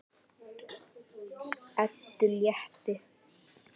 Eddu létti.